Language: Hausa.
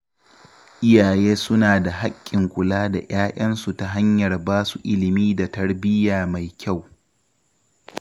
Iyaye suna da haƙƙin kula da 'ya'yansu ta hanyar ba su ilimi da tarbiyya mai kyau.